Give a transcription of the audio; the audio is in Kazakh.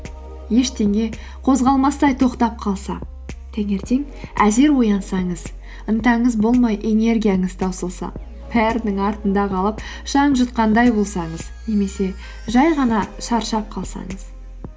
ештеңе қозғалмастай тоқтап қалса таңертең әзер оянсаңыз ынтаңыз болмай энергияңыз таусылса бәрінің артында қалып шаң жұтқандай болсаңыз немесе жай ғана шаршап қалсаңыз